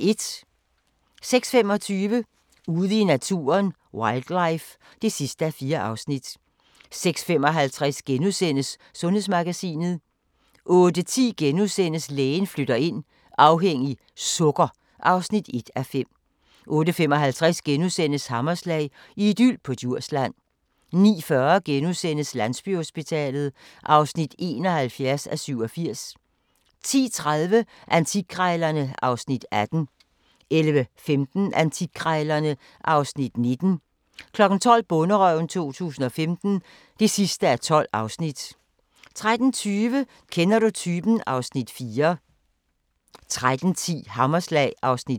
06:25: Ude i naturen: Wildlife (4:4) 06:55: Sundhedsmagasinet * 08:10: Lægen flytter ind - afhængig - sukker (1:5)* 08:55: Hammerslag – idyl på Djursland * 09:40: Landsbyhospitalet (71:87)* 10:30: Antikkrejlerne (Afs. 18) 11:15: Antikkrejlerne (Afs. 19) 12:00: Bonderøven 2015 (12:12) 12:30: Kender du typen? (Afs. 4) 13:10: Hammerslag (Afs. 5)